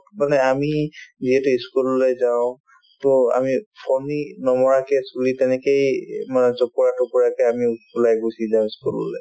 মানে আমি যিহেতু ই school ললৈ যাওঁ to আমি ফণী নমৰাকে চুলি তেনেকেই এই মানে জপৰা-টপৰাকে আমি ওলাই গুচি যাওঁ ই school ল'লে